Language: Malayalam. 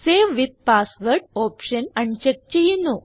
save with password option uncheck ചെയ്യുന്നു